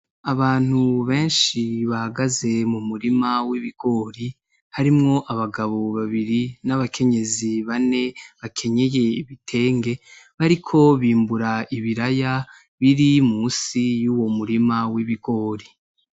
Abantu benshi bahagaze mu murima w'ibigori harimwo abagabo babiri n'abakenyezi bane bakenyeye ibitenge bariko bimbura ibiraya biri musi y'uwo murima w'ibigori.